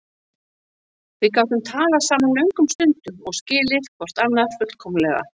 Við gátum talað saman löngum stundum og skilið hvort annað fullkomlega.